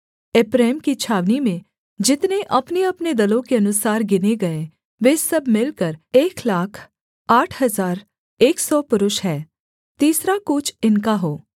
एप्रैम की छावनी में जितने अपनेअपने दलों के अनुसार गिने गए वे सब मिलकर एक लाख आठ हजार एक सौ पुरुष हैं तीसरा कूच इनका हो